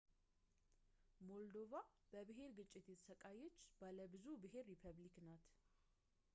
ሞልዶቫ በብሄር ግጭት የተሰቃየች ባለብዙ ብሄር ሪፐብሊክ ናት